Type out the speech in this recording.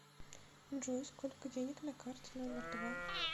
джой сколько денег на карте номер два